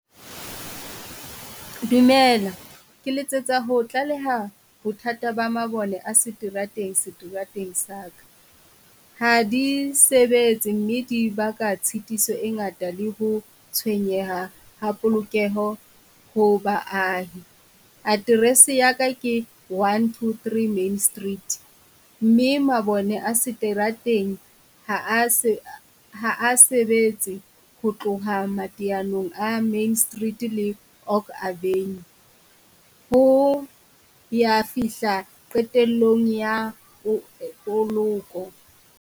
Dumela Ke letsetsa ho tlaleha bothata ba mabone a seterateng, seterateng sa ka. Hadi sebetse mme dibaka tshitiso e ngata le ho tshwenyeha ha polokeho ho baahi. Aterese ya ka ke one two three Main Street mme mabone a seterateng ha a , ha a sebetse ho tloha mateyanong Main Street le Oak Avenue ho ya fihla qetellong ya poloko.